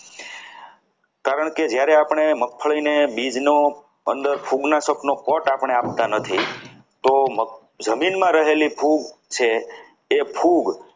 કારણકે જ્યારે આપણે મગફળીને બીજનો અંદર ફૂગનાશકનો કોટ આપણે આપતા નથી તો જમીનમાં રહેલી ફૂગ છે એ ખૂબ